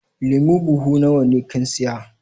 Lemu buhu nawa ne kin siya?